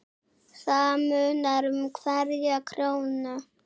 Það munar um hverja krónu.